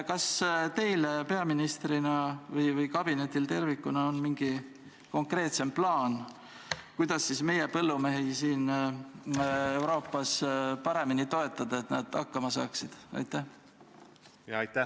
Kas teil peaministrina või kabinetil tervikuna on mingi konkreetsem plaan, kuidas meie põllumehi Euroopas paremini toetada, et nad hakkama saaksid?